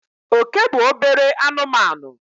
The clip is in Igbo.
Oke bụ obere anụmanụ.